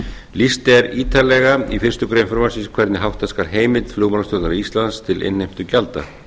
lýst er ítarlega í fyrstu grein frumvarpsins hvernig hátta skal heimild flugmálastjórnar íslands til innheimtugjalda